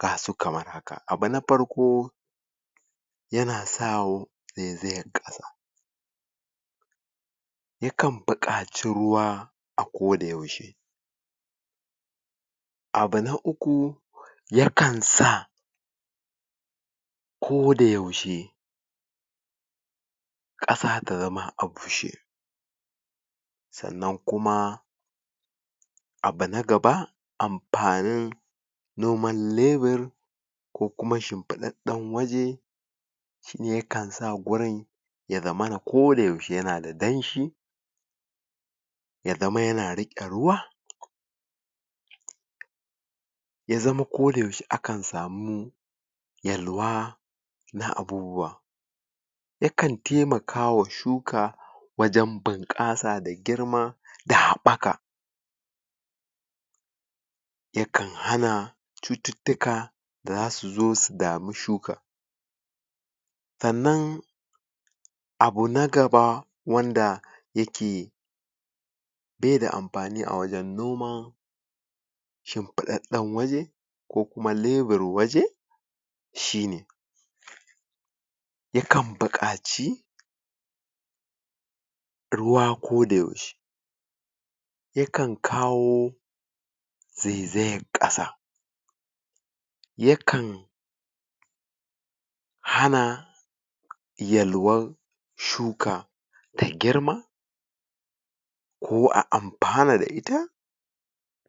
gasu kamar haka. Abu na parko yana sawo zaizayar ƙasa yakan buƙaci ruwa a koda yaushe abu na uku yakan sa koda yaushe ƙasa ta zama a bushe sannan kuma abu na gaba ampanin gonan lebur ko kuma shimpiɗaɗɗen waje shine yakan sa gurin ya zamana koda yaushe yana da danshi ya zama yana riƙe ruwa ya zama koda yaushe akan samu yalwa na abubuwa yakan temaka wa shuka wajen bunƙasa da girma da haɓɓaka yakan hana cututtuka da za su zo su damu shuka sannan abu na gaba wanda yake be da ampani a wajen noman shimpuɗsɗɗen waje ko kuma lebur waje shine yakan buƙaci ruwa koda yaushe yakan kawo zaizayar ƙasa yakan hana yalwan shuka ta girma ko a ampana da ita.